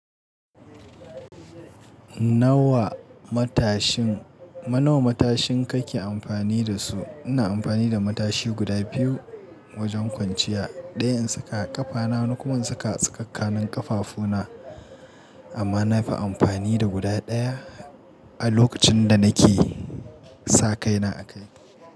Nawa matashin, nawa matashin kake amfani da su? Ina amfani da matashi guda biyu wajen kwanciya. Ɗaya in saka a ƙafana wani kuma in saka a tsakankanin ƙafafuna amma na fi amfani da guda ɗaya a lokacin da nake sa kaina a kai.